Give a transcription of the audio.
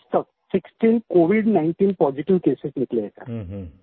वहाँ पे आज तक 16 सिक्सटीन COVID19 पॉजिटिव केसेस निकले हैं